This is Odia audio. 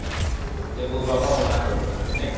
ମୋ ବାପା ମନା କରିଦେଲା